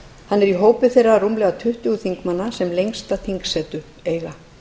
hann er í hópi þeirra rúmlega tuttugu þingmanna sem lengsta þingsetu eiga